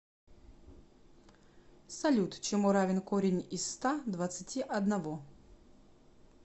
салют чему равен корень из ста двадцати одного